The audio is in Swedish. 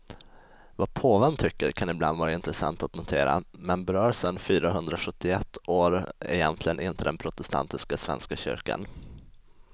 Vad påven tycker kan ibland vara intressant att notera, men berör sen fyrahundrasjuttioett år egentligen inte den protestantiska svenska kyrkan.